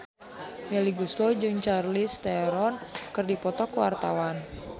Melly Goeslaw jeung Charlize Theron keur dipoto ku wartawan